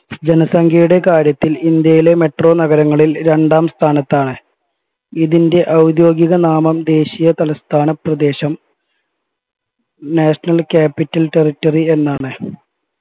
ജനസംഖ്യയുടെ കാര്യത്തിൽ ഇന്ത്യയിലെ മെട്രോ നഗരങ്ങളിൽ രണ്ടാം സ്ഥാനത്താണ് ഇതിൻ്റെ ഔദ്യോദികനാമം ദേശിയ തലസ്ഥാന പ്രദേശം national capital territory എന്നാണ്